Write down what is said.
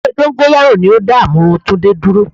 Ewé dóngóyárò ni o dá àmúrun Túndé dúró